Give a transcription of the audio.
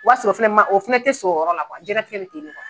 O w'a sɔrɔ filɛ ma o fɛnɛ tɛ sɔrɔ o yɔrɔ la jiyɛn latigɛ bɛ ten ne